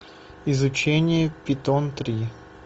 изучение питон три